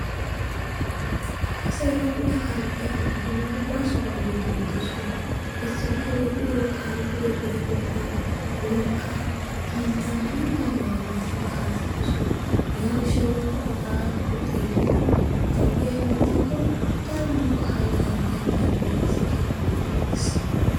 Kase ererrida kaalettiyaa aawati baasobaa oodidi biidosona. Ayssi giiko eti kaalettidoy eratettaan wolqqaan hiillan dumma dummabaa go"ettidi kaalletidoosona. Hegaa giishshawu nunikka etagaa xeellidi etugaadan heemetikko daro nunkka hayttaara haydaara de'iyaa asa kiyana dandayettees.